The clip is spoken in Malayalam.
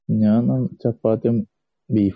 ഞാൻ ചപ്പാത്തിയും ബീഫും